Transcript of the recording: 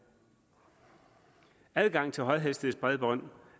adgang til højhastighedsbredbånd